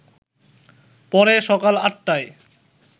পরে সকাল ৮টায়